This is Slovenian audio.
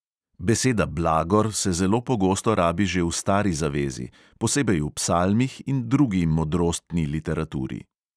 Beseda blagor se zelo pogosto rabi že v stari zavezi, posebej v psalmih in drugi modrostni literaturi.